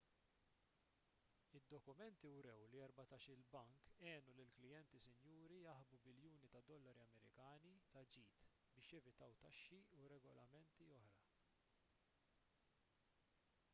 id-dokumenti wrew li erbatax-il bank għenu lill-klijenti sinjuri jaħbu biljuni ta' dollari amerikani ta' ġid biex jevitaw taxxi u regolamenti oħra